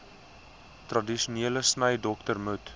tradisionele snydokter moet